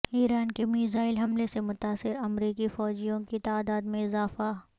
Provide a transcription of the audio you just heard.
ایران کے میزائل حملے سے متاثر امریکی فوجیوں کی تعداد میں اضافہ